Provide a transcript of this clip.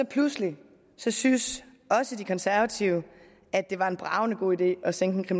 pludselig syntes også de konservative at det var en bragende god idé at sænke